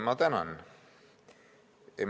Ma tänan!